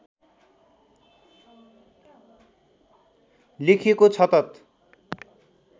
लेखिएको छ तत्